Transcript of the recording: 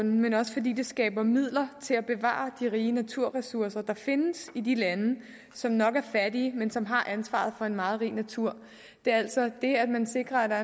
men også fordi det skaber midler til at bevare de rige naturressourcer der findes i de lande som nok er fattige men som har ansvaret for en meget rig natur det er altså det at man sikrer at der